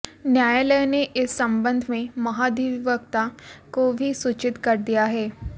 न्यायालय ने इस संबंध में महाधिवक्ता को भी सूचित कर दिया है